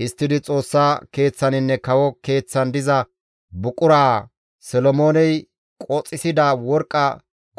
Histtidi Xoossa Keeththaninne kawo keeththan diza buquraa, Solomooney qoxissida worqqa